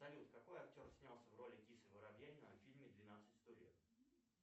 салют какой актер снялся в роли кисы воробьянинова в фильме двенадцать стульев